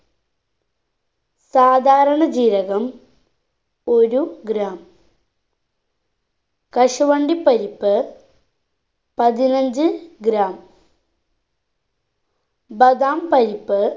സാധാരണ ജീരകം ഒരു gram കശുവണ്ടി പരിപ്പ് പതിനഞ്ച്‌ gram ബധാം പരിപ്പ്